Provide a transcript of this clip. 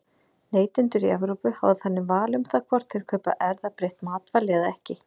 Neytendur í Evrópu hafa þannig val um það hvort þeir kaupa erfðabreytt matvæli eða ekki.